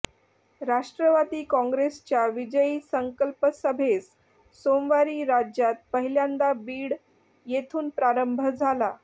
राष्ट्रवादी कॉंग्रेसच्या विजयी संकल्प सभेस सोमवारी राज्यात पहिल्यांदा बीड येथून प्रारंभ झाला